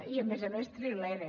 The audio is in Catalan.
i a més a més trilera